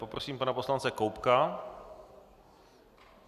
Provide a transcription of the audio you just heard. Poprosím pana poslance Koubka.